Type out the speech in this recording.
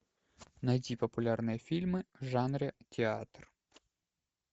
найти популярные фильмы в жанре театр